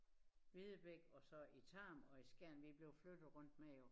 Videbæk og så i Tarm og i Skjern vi er blevet flyttet rundt med jo